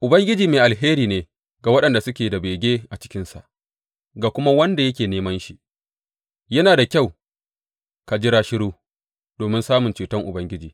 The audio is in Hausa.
Ubangiji mai alheri ne ga waɗanda suke da bege a cikinsa, ga kuma wanda yake neman shi; yana da kyau ka jira shiru domin samun ceton Ubangiji.